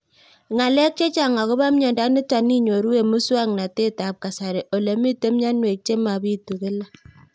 Ng'alek chechang' akopo miondo nitok inyoru eng' muswog'natet ab kasari ole mito mianwek che mapitu kila